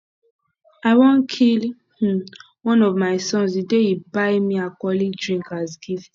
i wan kill um one of my sons the day he buy me alcoholic drink as gift